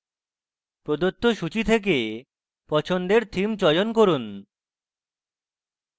প্রদত্ত সূচী থেকে পছন্দের theme চয়ন করুন